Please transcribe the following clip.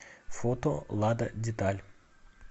фото лада деталь